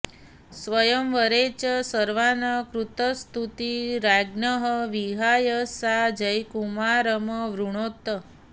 स्वयंवरे च सर्वान् कृतस्तुती राज्ञः विहाय सा जयकुमारमवृणोत्